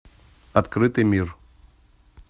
открытый мир